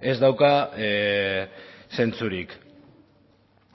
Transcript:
ez dauka zentzurik